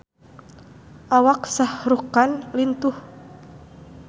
Awak Shah Rukh Khan lintuh